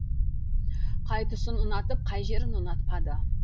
қай тұсын ұнатып қай жерін ұнатпады